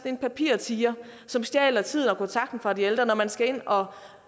en papirtiger som stjæler tiden og kontakten fra de ældre når man skal ind og